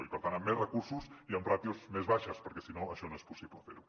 i per tant amb més recursos i amb ràtios més baixes perquè si no això no és possible fer ho